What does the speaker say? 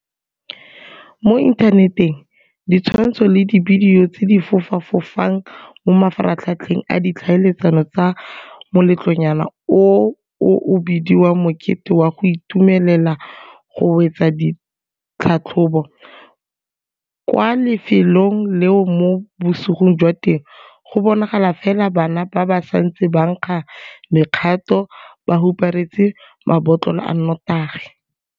Mo inthaneteng ditshwantsho le dibidio tse di fofa fofang mo mafaratlhatlheng a ditlhaeletsano tsa moletlonyana oo o o bediwang mokete wa go itumelela go wetsa ditlhatlhobo kwa lefelong leo mo bosigong jwa teng go bonagala fela bana ba ba santseng ba nkga mekgato ba huparetse mabotlolo a notagi.